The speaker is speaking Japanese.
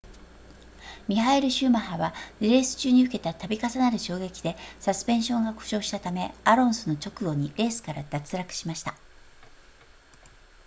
ミハエルシューマッハはレース中に受けた度重なる衝撃でサスペンションが故障したためアロンソの直後にレースから脱落しました